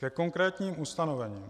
Ke konkrétním ustanovením: